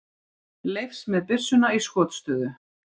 Leifs með byssuna í skotstöðu.